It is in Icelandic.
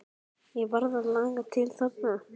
Ég varð að laga til þarna.